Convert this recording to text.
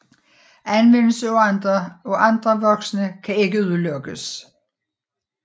Anvendelse af andre vokse kan ikke udelukkes